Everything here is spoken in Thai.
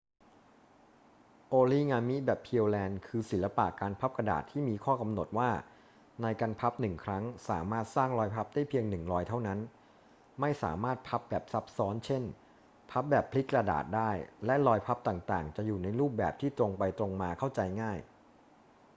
โอริงามิแบบ pureland คือ ศิลปะการพับกระดาษที่มีข้อกำหนดว่าในการพับหนึ่งครั้งสามารถสร้างรอยพับได้เพียงหนึ่งรอยเท่านั้น ไม่สามารถพับแบบซับซ้อน เช่น พับแบบพลิกกระดาษได้ และรอยพับต่าง ๆ จะอยู่ในรูปแบบที่ตรงไปตรงมาเข้าใจง่าย